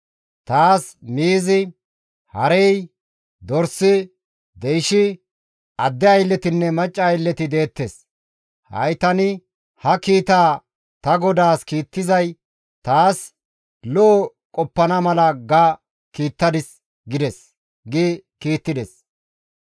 Taas miizi, harey, dorsi, deyshi, adde aylletinne macca aylleti deettes; ha7i tani ha kiitaa ta godaas kiittizay taas lo7o qoppana mala ga kiittadis› gides» gi kiittides.